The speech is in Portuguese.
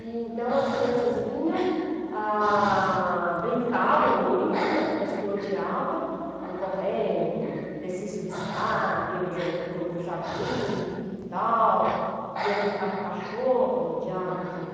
Então, as crianças vinham, ah brincavam muito né, coisa que eu odiava, ficavam correndo, desci e subia escada, ia para o para o para o jardim, para o quintal, ia brincar com o cachorro, eu odiava aquilo.